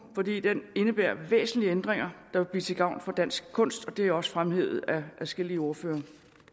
fordi den indebærer væsentlige ændringer der vil blive til gavn for dansk kunst og det er også fremhævet af adskillige ordførere